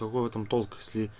в этом толк